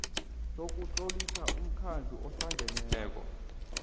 sokutlolisa umkhandlu ohlangeneko